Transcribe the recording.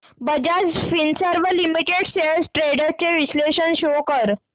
Bajaj Finserv limited shares trends चे विश्लेषण show कर